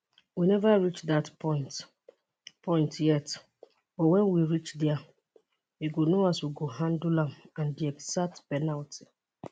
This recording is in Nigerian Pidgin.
we neva reach dat point point yet but wen we reach dia we go know as we go handle am and di exact penalty